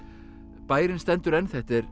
bærinn stendur enn þetta er